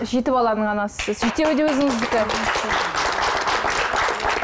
жеті баланың анасысыз жетеуі де өзіңіздікі